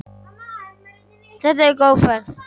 Þetta hefur verið góð ferð.